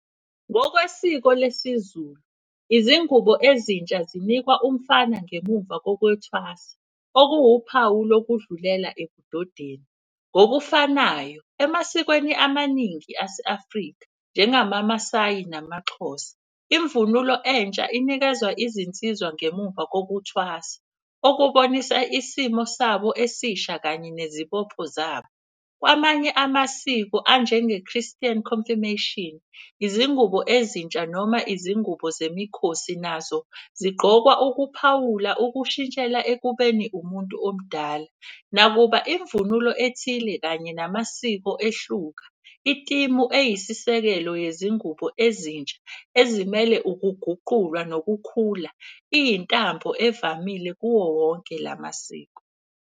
Ngokwesiko lesiZulu, izingubo ezintsha zinikwa umfana ngemumva kokwethwasa okuwuphawu lokudlulela ebudodeni. Ngokufanayo emasikweni amaningi ase-Afrika njengamaMasayi namaXhosa, imvunulo entsha inikezwa izinsizwa ngemuva kokuthwasa. Okubonisa isimo sabo esisha kanye nezibopho zabo. Amanye amasiko anjenge-Christian Confirmation, izingubo ezintsha noma izingubo zemikhosi nazo zigqokwa ukuphawula ukushintshela ekubeni umuntu omdala. Nakuba imvunulo ethile kanye namasiko ehluka itimu eyisisekelo yezingubo ezintsha ezimele ukuguqulwa nokukhula. Iyintambo evamile kuwo wonke la masiko.